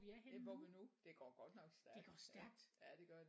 Ja hvor vi er nu det går godt nok stærkt ja ja det gør det